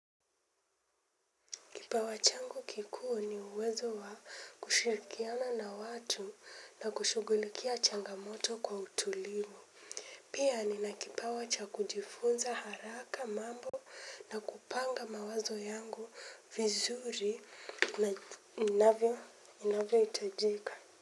Kipawa changu kikuu ni uwezo wa kushirikiana na watu na kushugulikia changamoto kwa utulivu. Pia nina kipawa cha kujifunza haraka mambo na kupanga mawazo yangu vizuri na inavyohitajika.